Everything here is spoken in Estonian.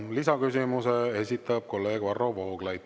Lisaküsimuse esitab kolleeg Varro Vooglaid.